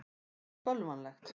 Finnst það bölvanlegt.